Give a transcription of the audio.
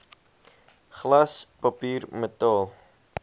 glas papier metaal